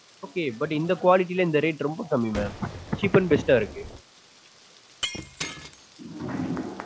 okay but இந்த quality ல இந்த rate ரொம்ப கம்மி mam cheap and best taste டா இருக்கு.